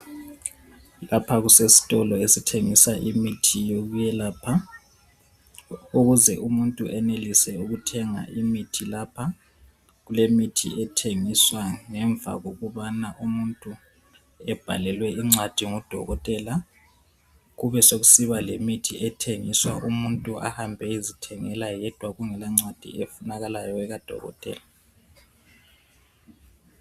Lapha kusesitolo esithengisa imithi yokuyelapha ukuze umuntu eyenelise ukuthenga imithi lapha, kulemithi ethengiswa ngemva kokubana umuntu ebhalelwe incwadi ngudokotela kube sokusiba lemithi ethengiswa umuntu ahambe eywzithengela yedwa kungela ncwadi efunakalayo ekadokotela.